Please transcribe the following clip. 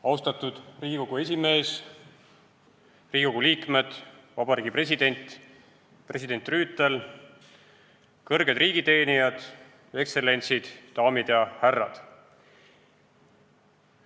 Austatud Riigikogu esimees, Riigikogu liikmed, Vabariigi President, president Rüütel, kõrged riigiteenijad, ekstsellentsid, daamid ja härrad!